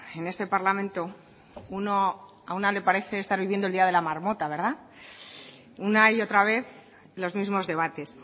en este parlamento a una le parece estar viviendo el día de la marmota verdad una y otra vez los mismos debates